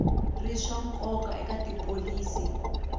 ri swa nkoka eka tipholisi